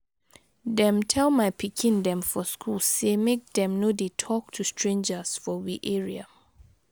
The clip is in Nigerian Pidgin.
Dem tel my pikin dem for school sey make dem no dey talk to strangers for we area.